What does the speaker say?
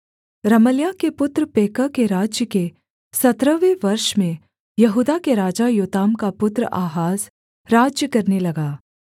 रमल्याह के पुत्र पेकह के राज्य के सत्रहवें वर्ष में यहूदा के राजा योताम का पुत्र आहाज राज्य करने लगा